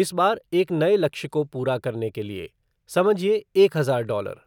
इस बार एक नए लक्ष्य को पूरा करने के लिए, समझिए एक हजार डॉलर।